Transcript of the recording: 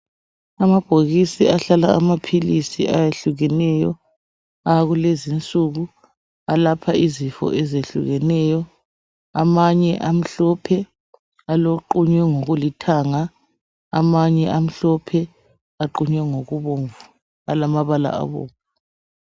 Amabhokisi ahlala amaphilisi ayehlukeneyo akulezi insuku alapha izifo ezehlukeneyo amanye amhlophe aqunywe ngolithanga, amanye amhlophe aqunywe ngokubomvu alamabala abomvu.